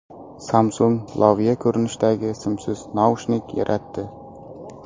Samsung loviya ko‘rinishidagi simsiz naushnik yaratdi.